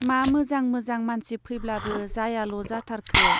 मा मोजां मोजां मानसि फैब्लाबो जायाल' जाथारखो ?